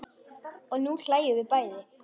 Og nú hlæjum við bæði.